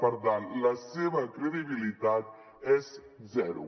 per tant la seva credibilitat és zero